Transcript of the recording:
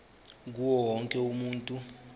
kuwo wonke umuntu